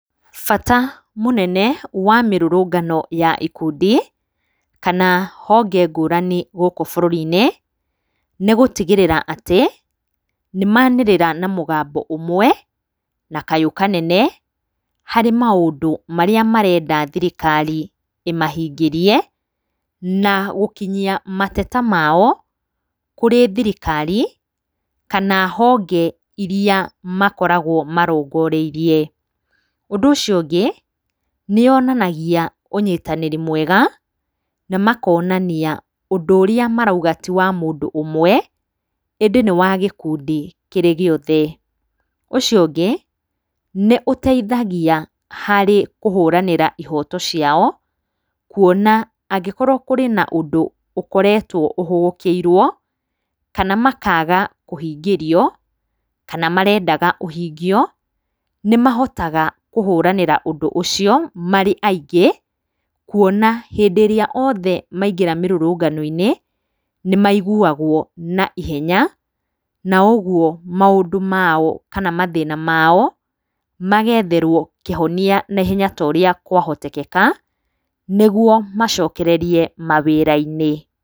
Bata mũnene wa mĩrũrũngano ya ikundi kana honge ngũrani gũkũ bũrũri-inĩ, nĩ gũtigĩrĩra atĩ nĩ manĩrĩra na mũgambo ũmwe na kayũ kanene harĩ maũndũ marĩa marenda thirikari ĩmahingĩrie, na gũkinyia mateta mao kũrĩ thirikari kana honge iria makoragwo marongoreirie. Ũndũ ũcio ũngĩ, nĩ yoanangia ũnyitanĩri mwega na makonania ũndũ ũrĩa marauga ti wa mũndũ ũmwe, ĩndĩ nĩ wa gĩkundi kĩrĩ gĩothe. Ũcio ũngĩ nĩ ũteithagia harĩ kũhũranĩra ihoto ciao, kuona angĩkorwo kũrĩ na ũndũ ũkoretwo ũhũgũkĩirwo, kana makaga kũhingĩrio, kana marendaga ũhingio, nĩ mahotaga kũhũranĩra ũndũ ũcio marĩ aingĩ, kuona hĩndĩ ĩrĩa othe maingĩra mĩrũrũngano-inĩ, nĩ maiguagwo na ihenya, na ũguo maũndũ mao kana mathĩna mao magetherwo kĩhonia na ihenya ta ũrĩa kwahoteteka, nĩguo macokererie mawĩra-inĩ.